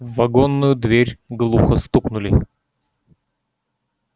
в вагонную дверь глухо стукнули